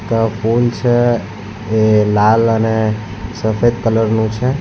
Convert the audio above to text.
આ ફૂલ છે એ લાલ અને સફેદ કલરનું છે.